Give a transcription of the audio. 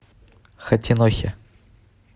хатинохе